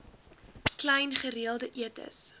klein gereelde etes